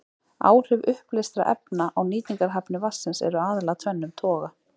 Áhrif uppleystra efna á nýtingarhæfni vatnsins eru aðallega af tvennum toga.